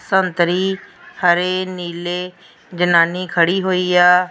ਸੰਤਰੀ ਹਰੇ ਨੀਲੇ ਜਨਾਨੀ ਖੜ੍ਹੀ ਹੋਈ ਆ।